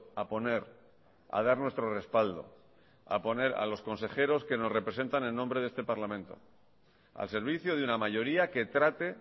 a poner a dar nuestro respaldo a poner a los consejeros que nos representan en nombre de este parlamento al servicio de una mayoría que trate